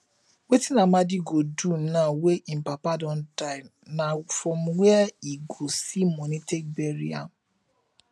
wetin amadi go do now wey im papa don die na from where e go see money take bury am